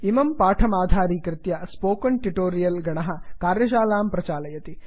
इमं पाठमाधारीकृत्य spoken tutorial गणः कार्यशालां प्रचालयति